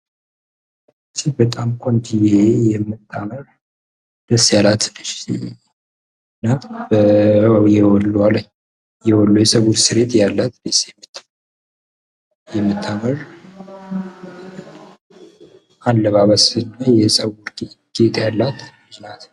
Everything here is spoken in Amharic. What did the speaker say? ይች በጣም ቆንጅየ የምታምር ደስ ያላት ልጅ ናት። እና የወሎ የጸጉር ስሬት ያላት ደስ የምትል የምታምር አላባበስ የጸጉር ጌጥ ያላት ናት።